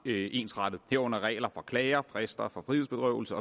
ensrettet herunder regler for klager for frister for frihedsberøvelse